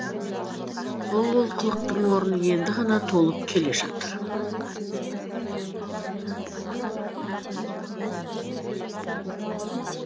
сол олқылықтың орны енді ғана толып келе жатыр